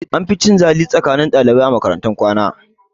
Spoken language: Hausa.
An fi yin cin zali tsakanin ɗalibai a makaratun kwana